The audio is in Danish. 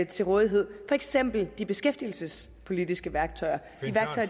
til rådighed for eksempel de beskæftigelsespolitiske værktøjer